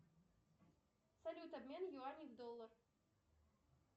салют обмен юаней в доллар